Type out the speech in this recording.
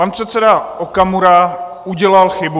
Pan předseda Okamura udělal chybu.